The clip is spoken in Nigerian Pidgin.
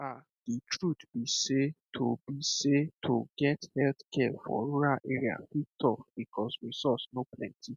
um the truth be sey to be sey to get healthcare for rural area fit tough because resource no plenty